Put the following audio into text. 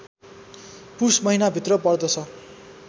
पुष महिनाभित्र पर्दछ